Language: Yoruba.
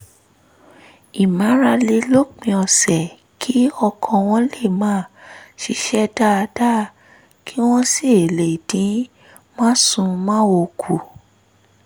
ìmárale lópin ọ̀sẹ̀ kí ọkàn wọn lè máa ṣiṣẹ́ dáadáa kí wọ́n sì lè dín másùnmáwo kù